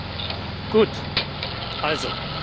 Ich habe Frau Spinelli aber gefragt.